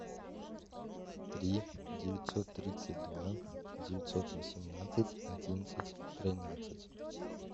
три девятьсот тридцать два девятьсот восемнадцать одиннадцать тринадцать